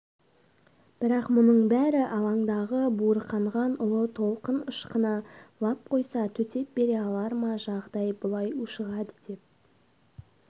бірақ мұның бәрі алаңдағы буырқанған ұлы толқын ышқына лап қойса төтеп бере алар ма жағдай бұлай ушығады деп